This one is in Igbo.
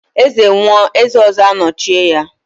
Eze nwụọ, eze ọzọ anọchie ya.